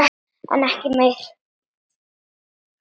En ekki mér.